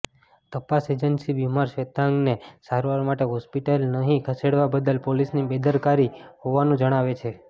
તપાસ એજન્સી બીમાર શ્વેતાંગને સારવાર માટે હોસ્પિટલ નહીં ખસેડવા બદલ પોલીસની બેદરકારી હોવાનું જણાવે છે